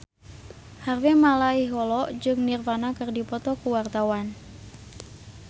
Harvey Malaiholo jeung Nirvana keur dipoto ku wartawan